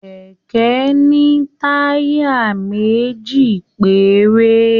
Kẹkẹ ní taya méjì péré.